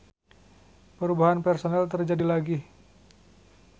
Perubahan personel terjadi lagi.